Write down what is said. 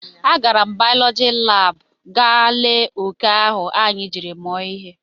A gara m baulọji lab ị gaa lee oke ahụ anyị jiri mụọ ihe